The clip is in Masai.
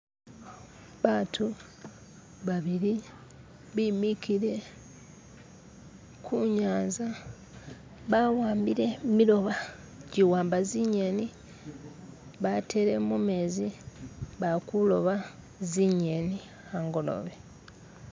Abantu babili bimikile kunyanza bawambile jimilobo ijiwamba zinyeni batele mu menzi balikuloba zinyeni angolobe.